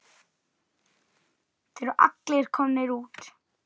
Þeir eru allir komnir út.